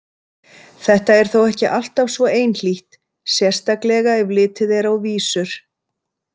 Þetta er þó ekki alltaf svo einhlítt, sérstaklega ef litið er á vísur.